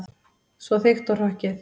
Svo þykkt og hrokkið.